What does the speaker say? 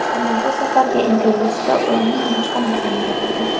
Ammo bu safargi intervyusida u umuman boshqa narsani gapirdi.